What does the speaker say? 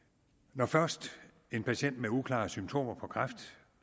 når først en patient med uklare symptomer på kræft